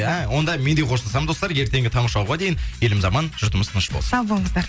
а онда мен де қоштасамын достар ертеңгі таңғы шоуға дейін еліміз аман жұртымыз тыныш болсын сау болыңыздар